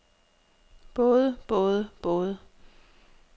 både både både